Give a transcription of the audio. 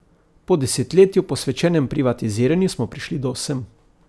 Po desetletju, posvečenem privatiziranju, smo prišli do sem.